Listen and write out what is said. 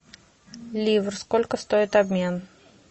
ливр сколько стоит обмен